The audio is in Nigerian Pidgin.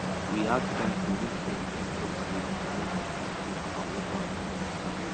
we add donkey make dem help us dey move food and water in the farm